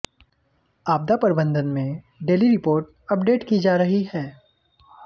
आपदा प्रबंधन में डेली रिपोर्ट अपडेट की जा रही है